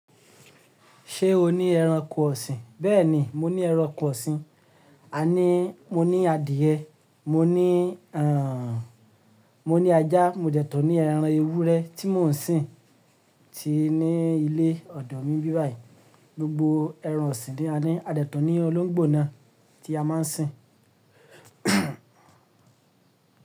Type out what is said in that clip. Ṣé o ní ẹranko ọ̀sìn? Bẹ́ẹ̀ni, mo ní ẹranko ọ̀sìn. A ní, mo ní adìẹ, mo ní, àn, mo ní ajá, mo jẹ̀tun ní ẹran ewúrẹ́ tí mò ń sìn tí ní ilé ọ̀dọ̀ mi n bí báyìí. Gbogbo ẹran ọ̀sìn ni a ní. A de tun ní olóńgbò náà tí a máa ń sìn.